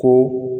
Ko